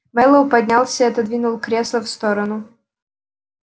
мэллоу поднялся и отодвинул кресло в сторону